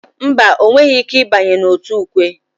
Mba, ọ nweghị ike ịbanye n'òtù ukwe.